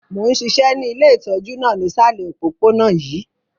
Mo n ṣiṣẹ́ ni ile itọju náà nisalẹ̀ opopona yii.